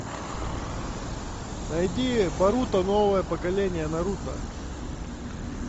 найди боруто новое поколение наруто